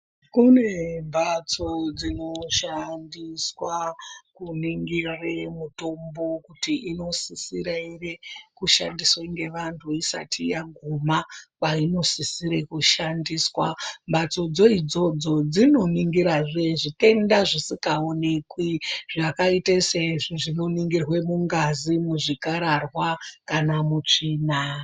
Kune mbatso dzinoshandiswa kuningire mitombo kuti unosisira ere kushandiswa ngevantu isati yaguma kwainosisire kushandiswa , mbatsodzo idzodzo dzinoningirazve zvitenda zvisingaonekwi zvakaite seizvo zvinoningirwe mungazi, muzvikararwa kana mutsvina.